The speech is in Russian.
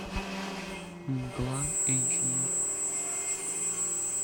мгла эйч ди